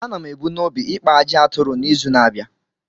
A na m ebu n’obi ikpa ajị aturu n’izu na-abịa.